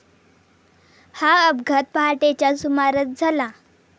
हा अपघात पहाटेच्या सुमारास झाला.